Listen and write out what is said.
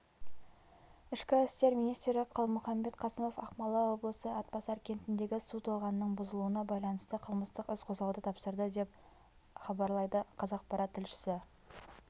ішкі істер министрі қалмұіамбет қасымов ақмола облысы атбасар кентіндегі су тоғанының бұзылуына байланысты қылмыстық іс қозғауды тапсырды деп іабарлайды қазақпарат тілшісі